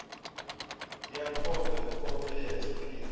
ya khombe khombe ya tshiphiri